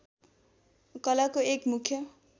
कलाको एक मुख्य